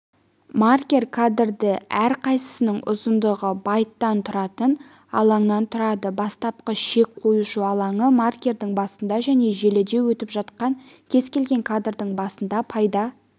маркер кадры әрқайсысының ұзындығы байттан тұратын алаңнан тұрады бастапқы шек қоюшы алаңы маркердің басында және желіде өтіп жатқан кез келген кадрдың басында пайда